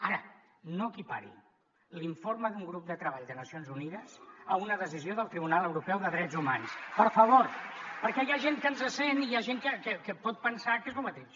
ara no equipari l’informe d’un grup de treball de nacions unides amb una decisió del tribunal europeu de drets humans per favor perquè hi ha gent que ens sent i hi ha gent que pot pensar que és el mateix